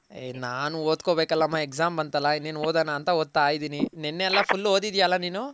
ಏ ನಾನ್ ಓದ್ಕೊನ್ ಬೆಕಲಮ್ಮ Exam ಬಂತಲ್ಲ ಇನ್ನೇನ್ ಓದನ ಅಂತ ಓದ್ತಾ ಇದ್ದೀನಿ ನೆನ್ನೆ ಎಲ್ಲ Full ಓದಿದ್ಯ ಅಲ್ಲ ನೀನು?